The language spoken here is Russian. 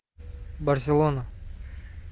барселона